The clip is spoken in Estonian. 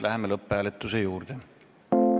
Läheme lõpphääletuse juurde.